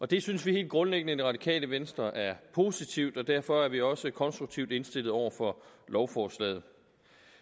det synes vi helt grundlæggende i det radikale venstre er positivt og derfor er vi også konstruktivt indstillet over for lovforslaget